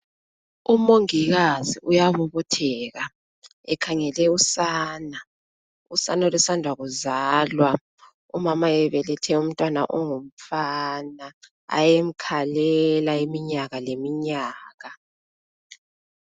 Umongikazi uyabobotheka, ekhangele usana. Usana olusanda kuzalwa. Umama ebelethe umntwana ongumfana. Ayemkhalela, iminyaka, leminyaka.